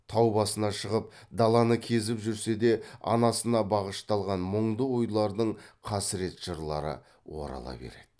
тау басына шығып даланы кезіп жүрсе де анасына бағышталған мұңды ойлардың қасірет жырлары орала береді